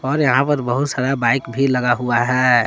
और यहां पर बहुत सारा बाइक भी लगा हुआ है।